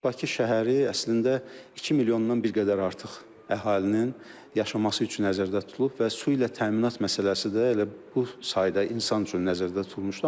Bakı şəhəri əslində 2 milyondan bir qədər artıq əhalinin yaşaması üçün nəzərdə tutulub və su ilə təminat məsələsi də elə bu sayda insan üçün nəzərdə tutulmuşdu.